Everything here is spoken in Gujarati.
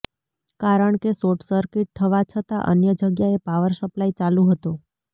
કારણ કે શોટસર્કિટ થવા છતાં અન્ય જગ્યાએ પાવર સપ્લાય ચાલુ હતો